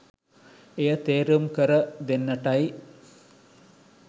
එය තේරුම් කර දෙන්නටයි